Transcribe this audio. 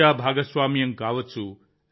ప్రజా భాగస్వామ్యం కావచ్చు